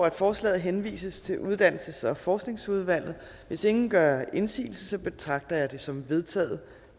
at forslaget henvises til uddannelses og forskningsudvalget hvis ingen gør indsigelse betragter jeg det som vedtaget